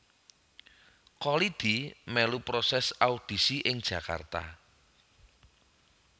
Kholidi melu proses audisi ing Jakarta